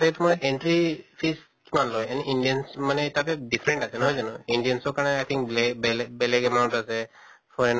তে তোমাৰ entry fees কিমান লয় এনে indians মানে তাতে different আছে নহয় জানো? indians ৰ কাৰণে i think ব্লে বে বেলেগ amount আছে foreign ৰ